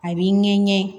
A b'i ɲɛ ŋɛɲɛ